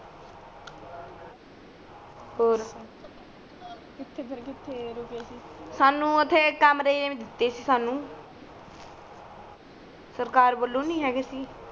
ਔਰ ਉੱਥੇ ਫੇਰ ਕਿੱਥੇ ਰੂਕੇ ਸੀ ਸਾਨੂੰ ਉਥੇ ਕਮਰੇ ਦਿੱਤੇ ਸੀ ਸਾਨੂੰ ਸਰਕਾਰ ਵਲੋਂ ਨੀ ਹਗੇ ਸੀ